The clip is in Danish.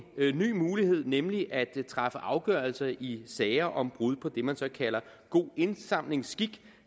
ny mulighed nemlig at træffe afgørelser i sager om brud på det man så kalder god indsamlingsskik